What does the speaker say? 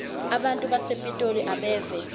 abantu basepitoli abeve